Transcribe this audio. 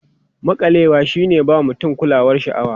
Maƙalewa shi ne ba mutum kulawar sha'awa.